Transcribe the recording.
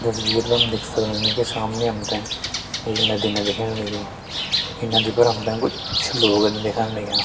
तस्वीर मा हम देख सक्दन की सामने हम तें एक नदिना दिखेण लगीं ईं नदी पर हम तें कुछ लोगन दिखण लग्यां।